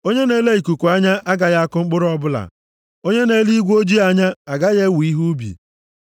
Onye na-ele ikuku anya agaghị akụ mkpụrụ ọbụla, onye na-ele igwe ojii anya agaghị ewe ihe ubi.